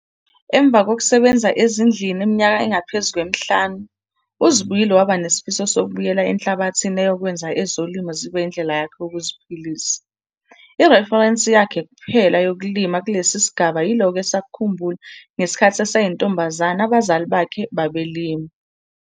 Emva kokusebenza ezindlini iminyaka engaphezulu kwemihlanu, uZibuyile waba nesifiso sokubuyela enhlabathini eyokwenza ezolimo zibe yindlela yakhe yokuziphilisa. Ireferensi yakhe kuphela yokulima kule sigaba yilokho esakukhumbula ngesikhathi eseyintombanzane abazali bakhe babelima.